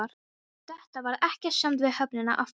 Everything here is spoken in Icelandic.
Eftir þetta varð ekkert samt við höfnina aftur.